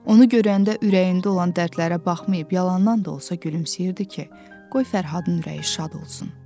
Onu görəndə ürəyində olan dərdlərə baxmayıb yalandan da olsa gülümsəyirdi ki, qoy Fərhadın ürəyi şad olsun.